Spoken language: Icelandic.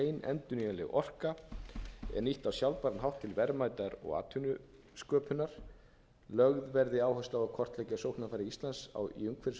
endurnýjanleg orka er nýtt á sjálfbæran hátt til verðmæta og atvinnusköpunar lögð verði áhersla á að hvort tveggja sóknarfæri íslands í umhverfisvænum iðnaði og